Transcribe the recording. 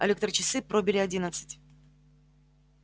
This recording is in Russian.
электрочасы пробили одиннадцать